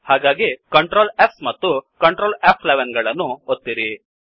ಹಾಗಾಗಿ Ctrl S ಮತ್ತು Ctrl ಫ್11 ಗಳನ್ನು ಒತ್ತಿರಿ